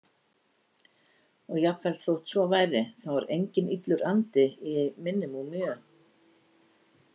Og jafnvel þótt svo væri, þá er enginn illur andi í minni múmíu.